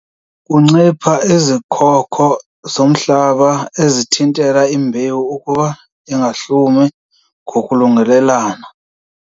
Kuncipha izikhoko zomhlaba ezithintela imbewu ukuba ingahlumi ngokulungelelana.